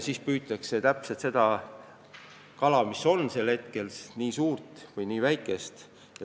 Nii püütaksegi just seda kala, mis sel hetkel saadaval on, just nii suurt või just nii väikest.